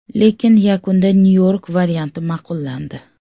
Lekin yakunda Nyu-York varianti ma’qullandi.